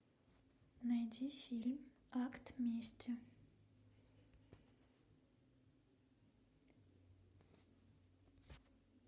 найди фильм акт мести